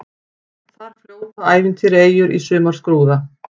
Þar fljóta ævintýraeyjur í sumarskrúða.